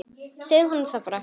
Segðu honum það bara!